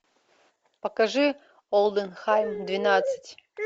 покажи олденхайм двенадцать